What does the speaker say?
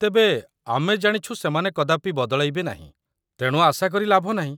ତେବେ, ଆମେ ଜାଣିଛୁ ସେମାନେ କଦାପି ବଦଳାଇବେ ନାହିଁ, ତେଣୁ ଆଶା କରି ଲାଭ ନାହିଁ